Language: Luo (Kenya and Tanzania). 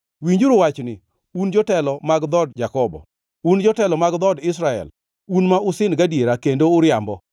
Winjuru wachni, un jotelo mag dhood Jakobo, un jotelo mag dhood Israel, un ma usin gadiera kendo uriambo,